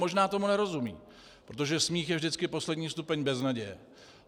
Možná tomu nerozumí, protože smích je vždycky poslední stupeň beznaděje.